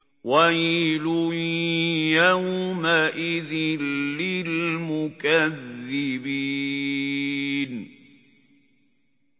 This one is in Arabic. وَيْلٌ يَوْمَئِذٍ لِّلْمُكَذِّبِينَ